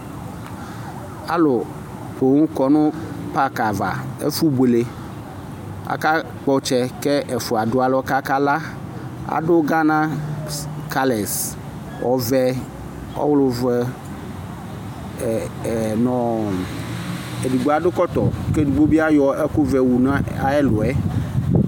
alʋ pɔɔm kɔnʋ parki aɣa, ɛƒʋ bʋɛlɛ, aka kpɔ ɔtsɛ kɛ ɛƒʋa dʋalɔ kʋ aka la, adʋ Ghana colors ɔvɛ, ɔlʋvɛ nʋ ɛdigbɔ adʋ kɔtɔ kʋ ɛdigbɔ ayɔ ɛkʋ wʋ nʋ ayi ɛlʋɛ